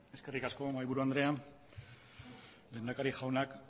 eskerrik asko mahaiburu andrea lehendakari jauna